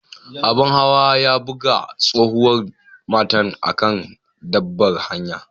Abun hawa ya buga tsohuwan matan a'kan babbar hanyan.